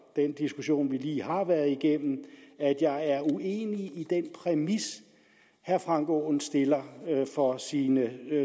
den diskussion vi lige har været igennem at jeg er uenig i den præmis herre frank aaen stiller for sine